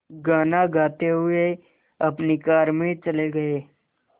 गाना गाते हुए अपनी कार में चले गए